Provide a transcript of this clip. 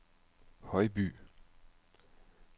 Højby